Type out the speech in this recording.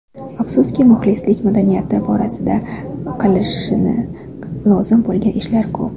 Afsuski, muxlislik madaniyati borasida qilinishi lozim bo‘lgan ishlar ko‘p.